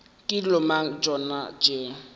ke dilo mang tšona tšeo